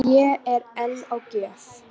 Fé er enn á gjöf